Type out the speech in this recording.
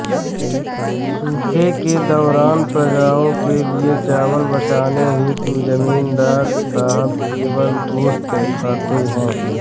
सूखे के दौरान प्रजाओं के लिए चावल बचाने हेतु जमींदार साहब केवल गोश्त खाते हैं